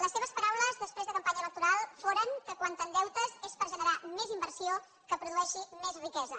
les seves paraules després de campanya electoral foren que quan t’endeutes és per generar més inversió que produeixi més riquesa